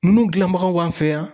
Ninnu gilanbagaw b'an fɛ yan.